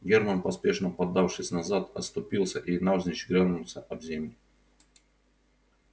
германн поспешно подавшись назад оступился и навзничь грянулся об земь